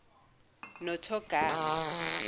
nothogama